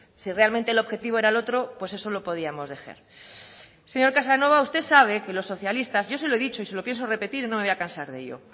si realmente el objetivo era el otro pues eso lo podíamos dejar señor casanova usted sabe que los socialistas yo se lo he dicho y se lo pienso repetir no me voy a cansar de ello